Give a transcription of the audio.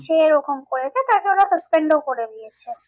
সে এরকম করেছে তাকে ওরা suspend ও করে দিয়েছে।